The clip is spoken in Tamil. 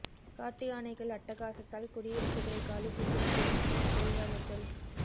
காட்டு யானைகள் அட்டகாசத்தால் குடியிருப்புகளை காலி செய்யும் டேன் டீ தொழிலாளர்கள்